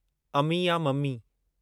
अमी या मम्मी